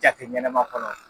Jate ɲɛnama kɔnɔ.